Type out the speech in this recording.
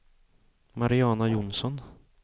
Mariana Johnsson